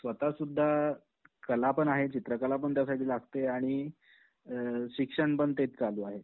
स्वतःसुद्धा, कला पण आहे चित्रकला पण त्यासाठी लागते आणि अअ शिक्षण पण तेच चालू आहे.